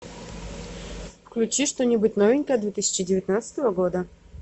включи что нибудь новенькое две тысячи девятнадцатого года